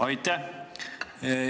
Aitäh!